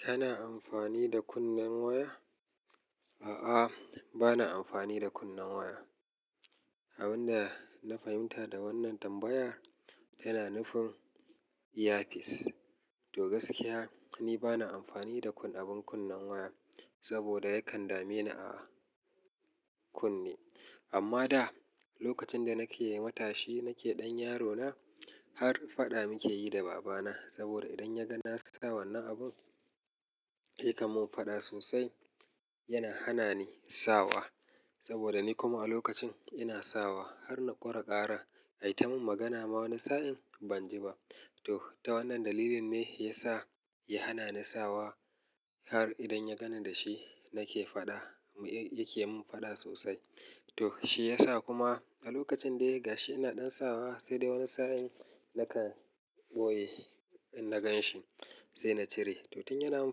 Kana amfani da kunnen waya? A'a, ba na amfani da kunnen waya. Abin da na fahimta da wannan tambaya yana nufin earpiece. To gaskiya, ni ba na amfani da kun abun kunnen waya, saboda yakan dame ni a kunne. Amma da lokacin da nake matashi, nake ɗan yarona har faɗa muke yi da babana. Saboda idan ya ga na sa wannan abun, ya kamon faɗa sosai. Yana hana ni sawa, saboda ni kuma a lokacin ina sawa har na ƙora ƙara. Ai ta mun magana ma wani sa'in ban ji ba. To ta wannan dalilin ne ya sa ya hana ni sawa har idan ya gani da shi nake faɗa, ya ke mun faɗa sosai. To shi ya sa kuma a lokacin dai gashi ina ɗan sawa sai da wani sa'in nakan boye in na gan shi sai na cire. To tun yana mun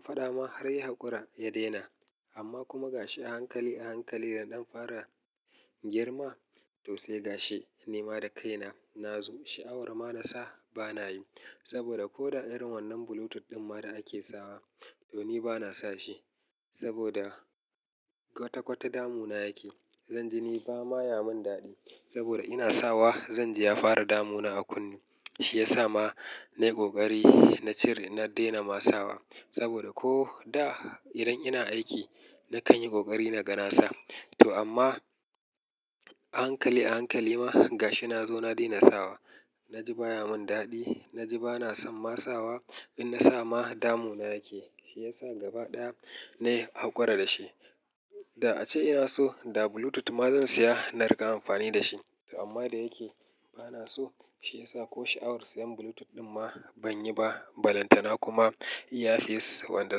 faɗa ma har ya hakura, ya daina. Amma kuma gashi a hankali a hankali yana ɗan fara girma to sai gashi. Ni ma da kaina nazo sha'awar ma na sa, ba na yi. Saboda ko da irn wannan Bluetooth ɗin ma da ake sawa to ni ba na sa shi. Saboda kwata-kwata damuna yake. Zan ji ni ba ma ya mun daɗi. Saboda ina sawa zan ji ya fara damuna a kunne. Shi ya sa ma na yi ƙoƙari na cire na daina ma sawa. Saboda ko da idan ina aiki na kan yi ƙoƙari na ga nasa. To amma a hankali a hankali ma gashi nazo na daina sawa. Na ji ba ya mun daɗi. Na ji ba na son ma sawa. In na sa ma damuna yake. Shi ya sa gaba ɗaya na yi hakura da shi. Da ace ina so da Bluetooth ma zan siya na riƙa amfani da shi. To amma da yake ba na so, shi ya sa ko sha'awar siyan Bluetooth ɗin ma ban yi ba. Balantana kuma earpiece wanda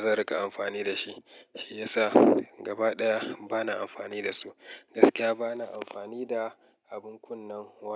zan riƙa amfani da shi. Shi ya sa gaba ɗaya ba na amfani da su. Gaskiya ba na amfani da abun kunnen waya.